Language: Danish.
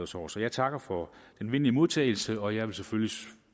sig over så jeg takker for den venlige modtagelse og jeg vil selvfølgelig